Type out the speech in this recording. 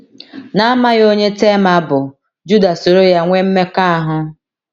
N’amaghị onye Tema bụ, Juda soro ya nwee mmekọahụ.